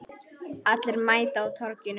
Allir mæta á Torginu